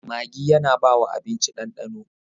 Maggi yAna bawa abinci dan dano